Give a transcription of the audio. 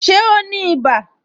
Ṣé o ní ibà